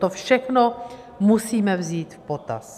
To všechno musíme vzít v potaz.